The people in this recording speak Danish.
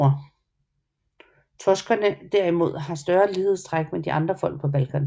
Toskerne derimod har større lighedstræk med de andre folk på Balkan